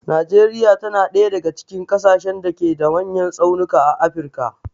Najeriya ta na ɗaya daga cikin ƙasashen da ke da manyan tsaunuka a afirka.